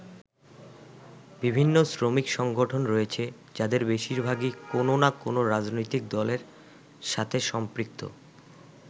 বিভিন্ন শ্রমিক সংগঠন রয়েছে যাদের বেশিরভাগই কোন না কোন রাজনৈতিক দলের সাথে সম্পৃক্ত।